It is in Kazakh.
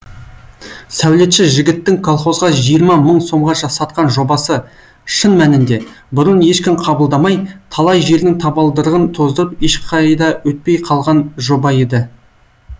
сәулетші жігіттің колхозға жиырма мың сомға сатқан жобасы шын мәнінде бұрын ешкім қабылдамай талай жердің табалдырығын тоздырып ешқайда өтпей қалған жоба еді